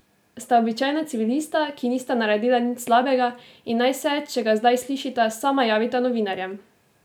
Sta običajna civilista, ki nista naredila nič slabega in naj se, če ga zdaj slišita, sama javita novinarjem!